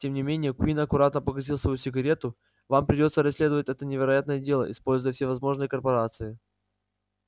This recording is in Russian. тем не менее куинн аккуратно погасил свою сигарету вам придётся расследовать это невероятное дело используя все возможности корпорации